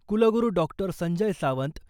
कुलगुरू डॉ. संजय सावंत,